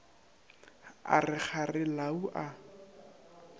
a re kgare lau a